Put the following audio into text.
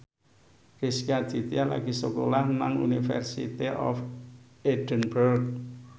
Rezky Aditya lagi sekolah nang University of Edinburgh